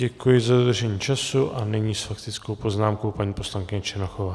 Děkuji za dodržení času a nyní s faktickou poznámkou paní poslankyně Černochová.